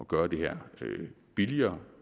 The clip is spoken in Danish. gøre det her billigere